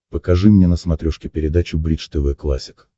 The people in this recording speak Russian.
покажи мне на смотрешке передачу бридж тв классик